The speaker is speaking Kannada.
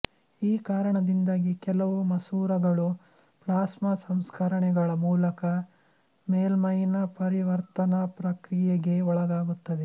ಈ ಕಾರಣದಿಂದಾಗಿ ಕೆಲವು ಮಸೂರಗಳು ಪ್ಲಾಸ್ಮ ಸಂಸ್ಕರಣೆಗಳ ಮೂಲಕ ಮೇಲ್ಮೈನ ಪರಿವರ್ತನಾ ಪ್ರಕ್ರಿಯೆಗೆ ಒಳಗಾಗುತ್ತದೆ